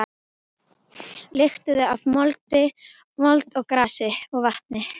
Lyktuðu af mold og grasi og vatni.